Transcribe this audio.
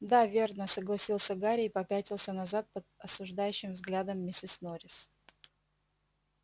да верно согласился гарри и попятился назад под осуждающим взглядом миссис норрис